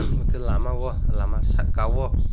amwtui lama o lama saka o.